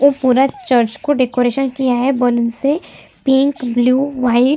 और पूरा चर्च को डेकोरेशन किया है बैलून से पिंक ब्लू व्हाइट --